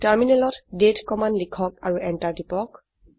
টাৰ্মিনালত দাঁতে কমান্ড লিখক আৰু এন্টাৰ টিপক